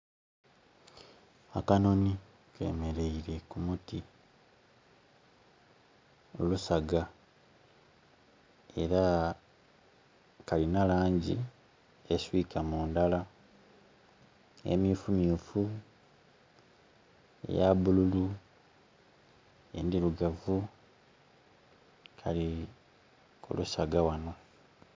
Akanhoni kemeleire ku muti, ku lusaga, era kalina langi eswika mu ndhala - emyufumyufu, eya bululu, endirugavu. Kali ku lusaga ghano.